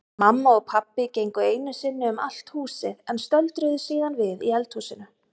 Mamma og pabbi gengu einu sinni um allt húsið en stöldruðu síðan við í eldhúsinu.